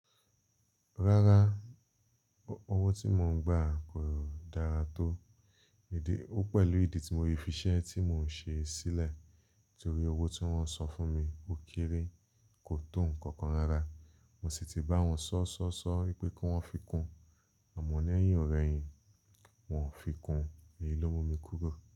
Rárá, owó tí mo ń gbà kò dára tó idi. Ó pẹ̀lú ìdí tí mo fi ṣẹ́ tí mò ń ṣe sílẹ̀ torí owó tí wọ́n san fún mi ó kéré, kò to nǹkan kan rárá. Mo sì ti bá wọn sọ̀sọ̀sọ̀ wípé kí wón fi kún àmọ́ lẹ́yìn ọ̀rẹ́ yín, wọ́n ò fi kún. Èyí ló mú mi kúrò.